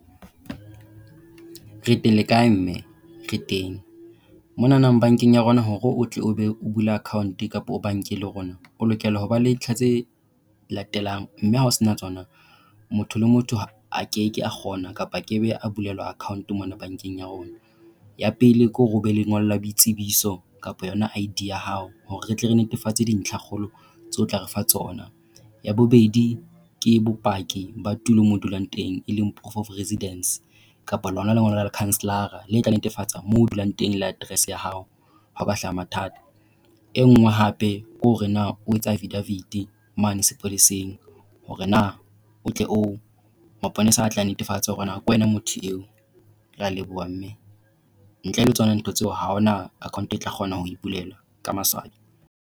Re teng le kae, mme? Re teng. Mona bankeng ya rona hore o tle o be o bula account kapa o banke le rona, o lokela ho ba le ntlha tse latelang mme ha o sena tsona motho le motho a ke ke a kgona kapa a ke be a bulelwa account mona bankeng ya rona. Ya pele ke hore o be lengola boitsebiso kapa yona ID ya hao, hore re tle re netefatse dintlhakgolo tseo o tla re fa tsona. Ya bobedi, ke bopaki ba tulo moo o dulang teng, e leng proof of residence. Kapa lona lengolo la lekhanselara le tla netefatsa moo o dulang teng le address ya hao ha ho ka hlaha mathata. E nngwe hape kore na o etsa affidavit mane sepoleseng hore na o tle o maponesa a tle a netefatsa hore na ke wena motho eo. Re a leboha, mme. Ntle le tsona ntho tseo ha hona account e tla kgona ho e bulelwa ka maswabi.